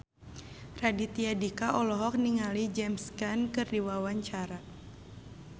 Raditya Dika olohok ningali James Caan keur diwawancara